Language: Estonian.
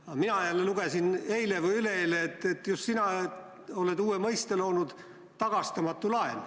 Aga mina jälle lugesin eile või üleeile, et just sina oled loonud uue mõiste: "tagastamatu laen".